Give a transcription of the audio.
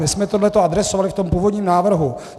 My jsme tohle adresovali v tom původním návrhu.